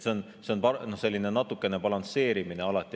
See on alati natukene balansseerimine.